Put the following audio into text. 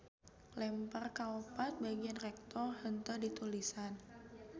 Lempir kaopat bagian recto henteu ditulisan.